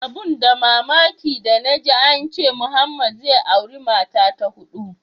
Abun da mamaki danaji ance Muhammed zai auri mata ta hudu.